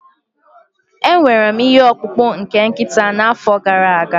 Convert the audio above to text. Enwere m ihe ọkpụkpụ nke nkịta n'afọ gara aga